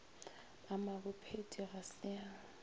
a mabophethi ga se a